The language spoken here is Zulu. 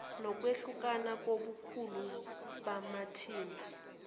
nokwehlukana ngobukhulu bamathimba